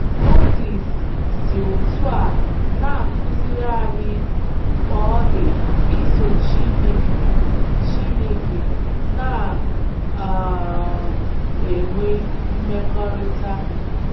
Mozis si otú a na - akụziri anyị mkpa ọ dị iso Chineke Chineke na um - enwe mmekọrịta.